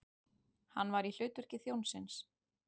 Hann var í hlutverki þjónsins.